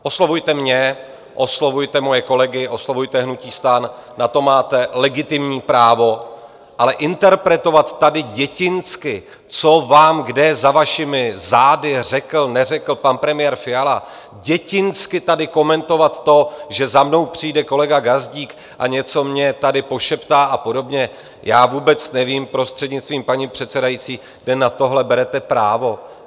Oslovujte mě, oslovujte moje kolegy, oslovujte hnutí STAN, na to máte legitimní právo, ale interpretovat tady dětinsky, co vám kde za vašimi zády řekl, neřekl pan premiér Fiala, dětinsky tady komentovat to, že za mnou přijde kolega Gazdík a něco mně tady pošeptá a podobně - já vůbec nevím, prostřednictvím paní předsedající, kde na tohle berete právo.